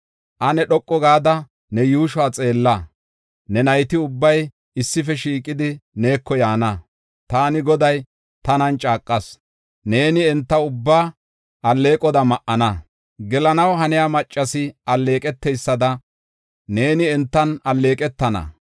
Ane dhoqu gada ne yuushuwa xeella; ne nayti ubbay issife shiiqidi neeko yaana. Taani Goday, tanan caaqas: neeni enta ubbaa alleeqoda ma7ana; gelanaw haniya maccasi alleeqeteysada neeni entan alleeqetana.